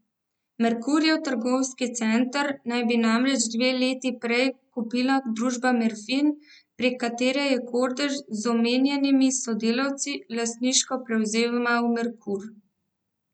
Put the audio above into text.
Merkurjev trgovski center naj bi namreč dve leti prej kupila družba Merfin, prek katere je Kordež z omenjenimi sodelavci lastniško prevzemal Merkur.